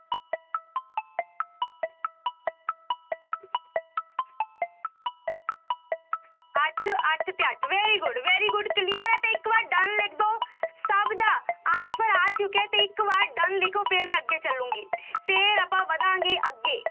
ਅੱਠ ਅੱਠ ਤੇ ਅੱਠ very good, very good clear ਹੈ ਤੇ ਇੱਕ ਵਾਰ done ਲਿਖ ਦਓ, ਸਭ ਦਾ answer ਆ ਚੁੱਕਿਆ ਤੇ ਇੱਕ ਵਾਰ done ਲਿਖੋ ਫਿਰ ਮੈਂ ਅੱਗੇ ਚੱਲਾਂਗੀ ਫਿਰ ਆਪਾਂ ਵਧਾਂਗੇ ਅੱਗੇ।